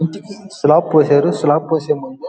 దీనికి స్లాబ్ పోశారు స్లాబ్ పొసే ముందు --